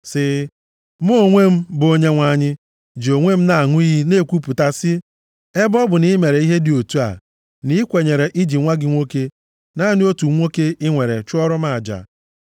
sị, “Mụ onwe m, bụ Onyenwe anyị, ji onwe m na-aṅụ iyi na-ekwupụta sị, ebe ọ bụ na i mere ihe dị otu a, na i kwenyere iji nwa gị nwoke, naanị otu nwoke i nwere chụọrọ m aja,